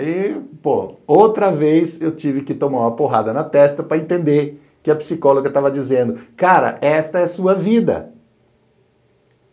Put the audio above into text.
Aí, pô, outra vez eu tive que tomar uma porrada na testa para entender que a psicóloga estava dizendo, cara, esta é sua vida.